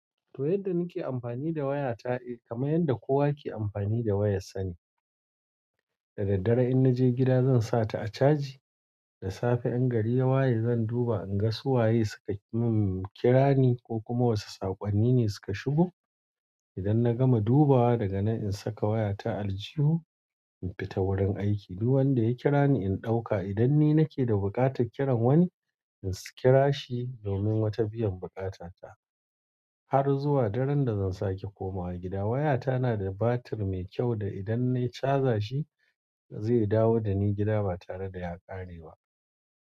To yadda nike amfani da waya ta eh kama yadda kowa ke amfani da wayar sa ne. Da daddare in naje gida zan sa ta a caji, da safe in gari ya waye zan duba in ga su waye su ka umm kira ni ko kuma wasu sakonni ne suka shigo idan na gama dubawa daga nan in saka waya ta a aljihu in fita wurin aiki. Duk wanda ya kira ni in ɗauka idan ni nake da buƙatar kiran wani in si kira shi domin wata biyan buƙata ta. Har zuwa daren da zan sake komawa gida waya ta na da batir mai kyau da idan nayi caja shi zai dawo dani gida ba tare da ya kare ba.